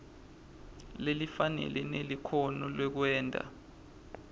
lelifanele nelikhono lekwenta